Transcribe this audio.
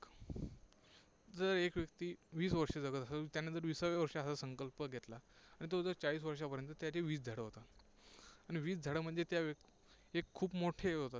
जर एक व्यक्ती वीस वर्षे जगत असेल, त्याने जर विसाव्या वर्षी असा संकल्प घेतला, तर तो चाळीस वर्षांपर्यंत, त्याचे वीस झाडं होतात. आणि वीस झाडं म्हणजे त्या ते खूप मोठे होतात.